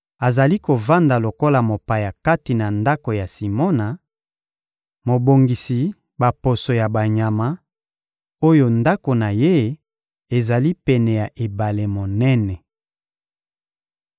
azali kovanda lokola mopaya kati na ndako ya Simona, mobongisi baposo ya banyama, oyo ndako na ye ezali pene ya ebale monene.